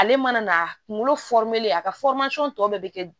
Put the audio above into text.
Ale mana na kunkolo a ka tɔ bɛɛ bɛ kɛ